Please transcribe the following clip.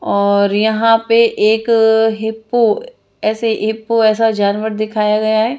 और यहाँ पे एक हिप्पो ऐसे हिप्पो ऐसा जानवर दिखाया गया है।